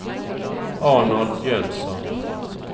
Arnold Jönsson